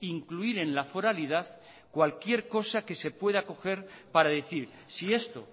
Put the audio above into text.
incluir en la foralidad cualquier cosa que se pueda coger para decir si esto